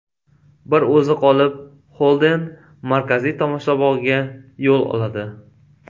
Bir o‘zi qolib, Xolden markaziy tomoshabog‘ga yo‘l oladi.